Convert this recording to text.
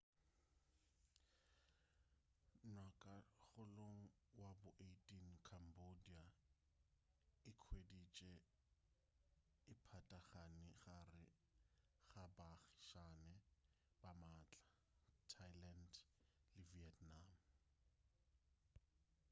ngwagakgolong wa bo 18 cambodia e ikhweditše e patagane gare ga baagišane ba maatla thailand le vietnam